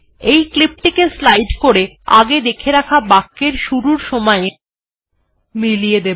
এই ক্লিপ টিকে স্লাইড করে আগে দেখে রাখা বাক্যটির শুরুর সময় এ মিলিয়ে দেব